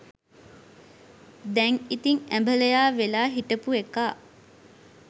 දැන් ඉතිං ඇඹලයා වෙලා හිටපු එකා